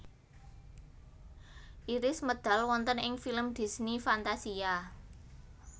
Iris medal wonten ing film Disney Fantasia